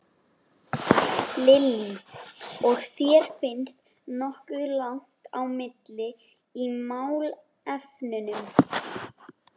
Lillý: Og þér finnst nokkuð langt á milli í málefnunum?